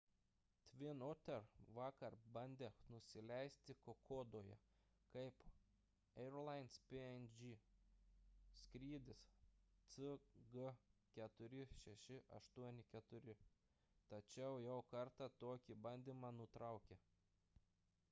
twin otter vakar bandė nusileisti kokodoje kaip airlines png skrydis cg4684 tačiau jau kartą tokį bandymą nutraukė